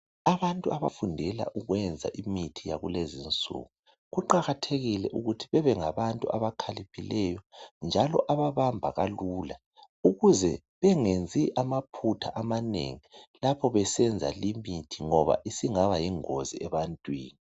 Abantu abafundela ukwenza imithi yakulezi insuku, kuqakathekile ukuthi bebe ngabantu abakhaliphileyo, njalo ababamba kalula. Ukuze bengenzi amaphutha amanengi, lapho besenza limithi, ngoba isingaba yingozi ebantwini.